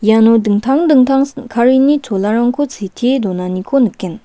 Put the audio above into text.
iano dingtang dingtang sin·karini cholarangko sitee donaniko nikgen.